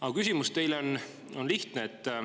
Aga küsimus teile on lihtne.